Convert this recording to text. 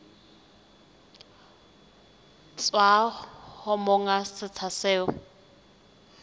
tswa ho monga setsha seo